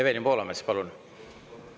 Evelin Poolamets, palun!